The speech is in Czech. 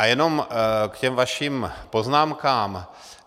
A jenom k těm vašim poznámkám.